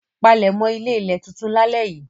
Palẹ̀mọ́ ilé-ilẹ̀ tuntun lálẹ́ yìí!